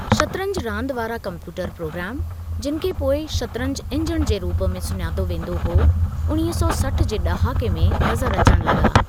शतरंजि रांदि वारा computer program, जिनि खे पोइ शतरंजि इंजणु जे रूप में सुञातो वेंदो हुओ, उणिवीह सौ सठि जे ड॒हाके में नज़रु अचण लगा॒।